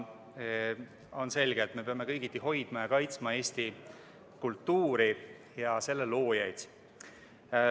On selge, et me peame kõigiti hoidma ja kaitsma Eesti kultuuri ja selle loojaid.